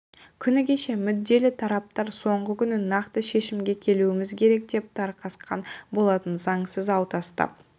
күні кеше мүдделі тараптар соңғы күні нақты шешімге келуіміз керек деп тарқасқан болатын заңсыз ау тастап